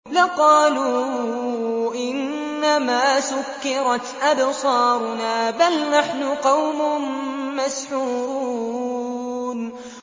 لَقَالُوا إِنَّمَا سُكِّرَتْ أَبْصَارُنَا بَلْ نَحْنُ قَوْمٌ مَّسْحُورُونَ